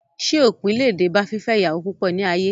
Ṣé òpin le dé bá fífẹ́ ìyàwó púpọ̀ ní ayé?